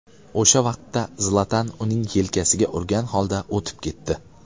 O‘sha vaqtda Zlatan uning yelkasiga urgan holda o‘tib ketdi.